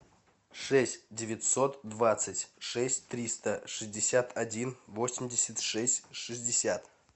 шесть девятьсот двадцать шесть триста шестьдесят один восемьдесят шесть шестьдесят